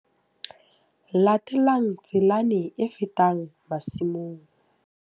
Latela tselana e fetang masimong.